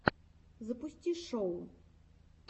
запусти шоу